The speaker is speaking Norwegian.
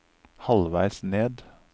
halvveis ned